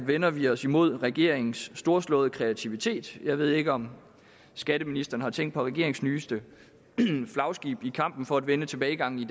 vender vi os imod regeringens storslåede kreativitet jeg ved ikke om skatteministeren har tænkt på regeringens nyeste flagskib i kampen for at vende tilbagegangen i